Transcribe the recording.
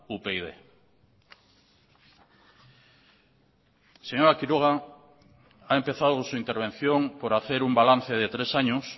upyd señora quiroga ha empezado su intervención por hacer un balance de tres años